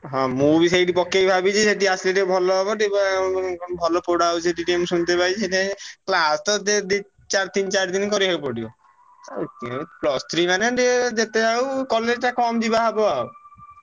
ହଁ ମୁଁ ବି ସେଇଠି ପକେଇବି ଭାବିଛି ସେଠି ଆସିଲେ ଭଲ ହବ ଟିକେ ଉଁ ଭଲ ପଢା ହଉଛି ସେଠି ଟିକେ ମୁଁ ଶୁଣିତେ ପାଇଛି ସେଥିପାଇଁ class ତ ଦେ ଦି ଚାର ତିନି ଚାର ଦିନି କରିଆକୁ ପଡିବ। ଆଉ plus three ମାନେ ଟିକେ ଯେତେ ଯାହା ହଉ college ଟା କମ୍ ଯିବା ହବ ଆଉ